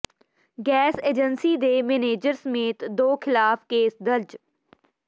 gas agency ਦੇ manager ਸਮੇਤ ਦੋ ਖ਼ਿਲਾਫ਼ ਕੇਸ ਦਰਜ